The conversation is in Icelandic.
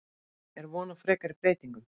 Er von á frekari breytingum?